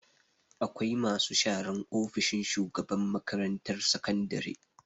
Akwai masu sharan ofishin shugaban makarantar sakandare.